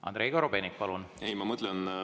Andrei Korobeinik, palun!